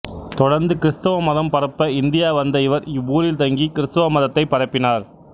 தொடர்ந்து கிறித்துவ மதம் பரப்ப இந்தியா வந்த இவர் இவ்வூரில் தங்கி கிறித்துவ மதத்தை பரப்பினார்